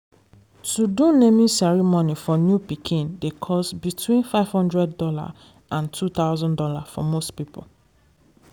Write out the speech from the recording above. to do naming ceremony for new born pikin dey cost between five hundred dollars and two thousand dollars for most people